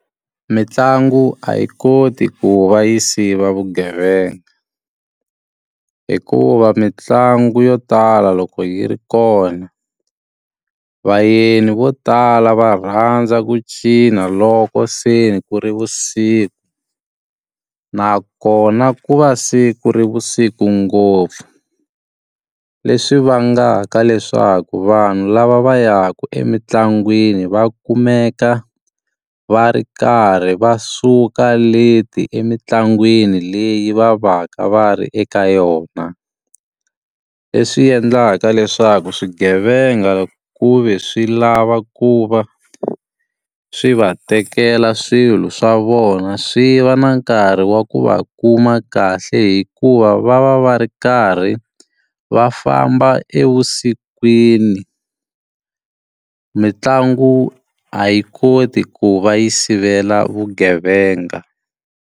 Mitlangu a yi koti ku va yi siva vugevenga. Hikuva mitlangu yo tala loko yi ri kona, vayeni vo tala va rhandza ku cina loko se ku ri vusiku. Nakona ku va se ku ri vusiku ngopfu, leswi vangaka leswaku vanhu lava va yaka emitlangwini va kumeka va ri karhi va suka late emitlangwini leyi va va ka va ri eka yona. Leswi endlaka leswaku swigevenga ku ve swi lava ku va swi va tekela swilo swa vona, swi va na nkarhi wa ku va kuma kahle hikuva va va va ri karhi va famba evusikwini. Mintlangu a yi koti ku va yi sivela vugevenga.